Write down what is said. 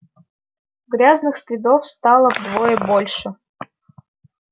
грязных следов стало вдвое больше